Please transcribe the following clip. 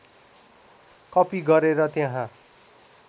कपि गरेर त्यहाँ